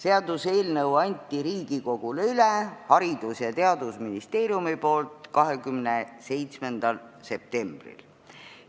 Haridus- ja Teadusministeerium andis eelnõu Riigikogule üle 27. septembril.